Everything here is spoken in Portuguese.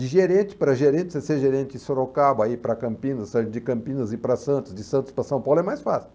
De gerente para gerente, você ser gerente em Sorocaba para Campinas, sair de Campinas para Santos, de Santos para São Paulo é mais fácil.